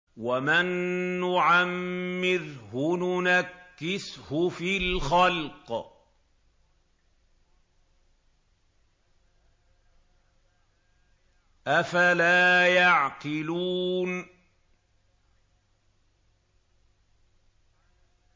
وَمَن نُّعَمِّرْهُ نُنَكِّسْهُ فِي الْخَلْقِ ۖ أَفَلَا يَعْقِلُونَ